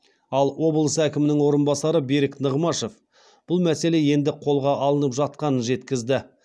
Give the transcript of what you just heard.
ал облыс әкімінің орынбасары берік нығмашев бұл мәселе енді қолға алынып жатқанын жеткізді